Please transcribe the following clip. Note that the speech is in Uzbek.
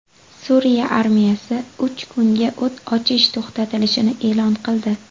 Suriya armiyasi uch kunga o‘t ochish to‘xtatilishini e’lon qildi.